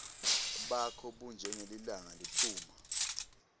bakho bunjengelilanga liphuma